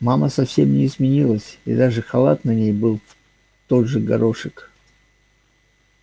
мама совсем не изменилась и даже халат на ней был тот же горошек